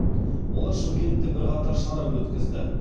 олар шымкентте бірқатар шара өткізді